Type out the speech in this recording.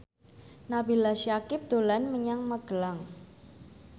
Nabila Syakieb dolan menyang Magelang